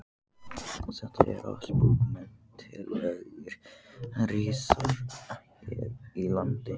Þetta eru allt bókmenntalegir risar hér í landi.